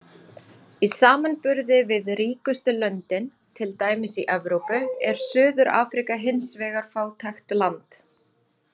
Í samanburði við ríkustu löndin, til dæmis í Evrópu, er Suður-Afríka hins vegar fátækt land.